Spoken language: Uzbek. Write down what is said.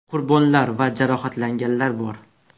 Qurbonlar va jarohatlanganlar bor.